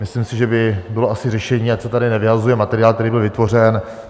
Myslím si, že by bylo asi řešení, ať se tady nevyhazuje materiál, který byl vytvořen.